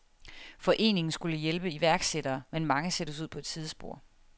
Foreningen skulle hjælpe iværksættere, men mange sættes ud på et sidespor.